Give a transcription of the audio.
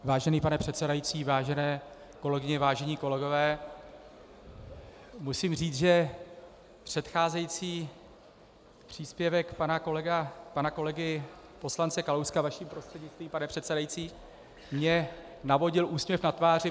Vážený pane předsedající, vážené kolegyně, vážení kolegové, musím říct, že předcházející příspěvek pana kolegy poslance Kalouska, vaším prostřednictvím, pane předsedající, mně navodil úsměv na tváři.